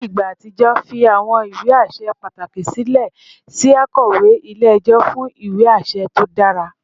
Ni igba atijọ, fi awọn iwe aṣẹ pataki silẹ si akọwe ile-ẹjọ fun iwe aṣẹ to dara